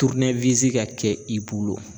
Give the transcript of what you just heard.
ka kɛ i bolo